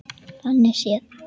Þannig séð.